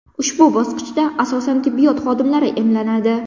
Ushbu bosqichda asosan tibbiyot xodimlari emlanadi.